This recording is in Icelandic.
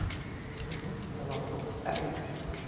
Sú næsta var þó erfiðari.